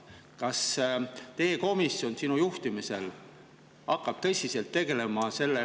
Kas teie komisjon hakkab sinu juhtimisel tõsiselt tegelema sellega …